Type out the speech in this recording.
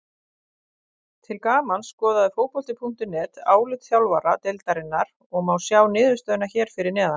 Til gamans skoðaði Fótbolti.net álit þjálfara deildarinnar og má sjá niðurstöðuna hér að neðan.